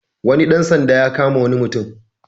Wani ɗan sanda ya kama wani mutum.